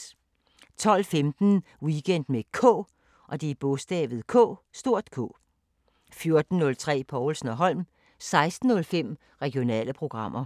12:15: Weekend med K 14:03: Povlsen & Holm 16:05: Regionale programmer